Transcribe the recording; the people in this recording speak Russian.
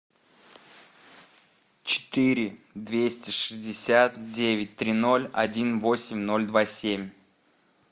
четыре двести шестьдесят девять три ноль один восемь ноль два семь